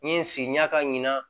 N ye n sigi ɲa ka ɲina